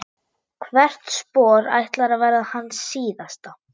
Hvert spor ætlar að verða hans síðasta.